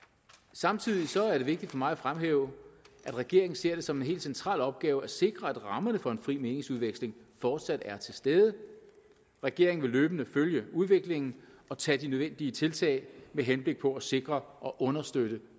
samtidig er det vigtigt for mig at fremhæve at regeringen ser det som en helt central opgave at sikre at rammerne for en fri meningsudveksling fortsat er til stede regeringen vil løbende følge udviklingen og tage de nødvendige tiltag med henblik på at sikre og understøtte